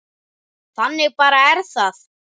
Þannig bara er það.